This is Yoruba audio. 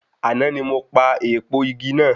Àná ni mo pa èèpo igi náà.